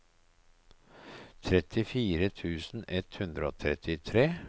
trettifire tusen ett hundre og trettitre